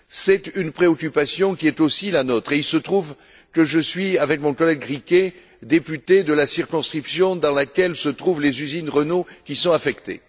Cette préoccupation est aussi la nôtre et il se trouve que je suis, avec mon collègue Riquet, député de la circonscription dans laquelle se trouvent les usines Renault qui sont touchées.